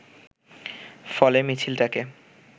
ফলে মিছিলটাকে